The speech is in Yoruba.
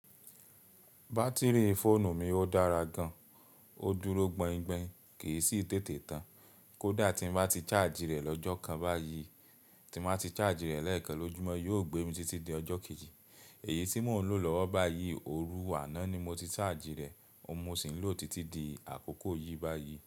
Batiri fóònù mi ó dára gan. Ó dúró gbaingbain, kì í sì tètè tán. Kódà tí n bá ti charge rẹ̀ lọ́jọ́ kan báyìí, tí n ba ti charge rẹ̀ lẹ́ẹ̀kan lójúmọ́ yóò gbé mi títí di ọjọ́ kejì. Èyí tí mò ń lò lọ́wọ́ báyìí, òru àná ni mo ti charge rẹ̀, óun mo sì ń lò títí di àkókò yìí báyìí.